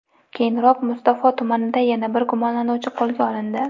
Keyinroq, Mustafo tumanida yana bir gumonlanuvchi qo‘lga olindi.